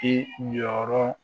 I jɔyɔrɔ